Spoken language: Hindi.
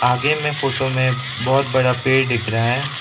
आगे में फोटो में बहुत बड़ा पेड़ दिख रहा है।